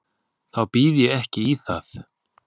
Þá býð ég ekki í það.